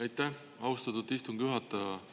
Aitäh, austatud istungi juhataja!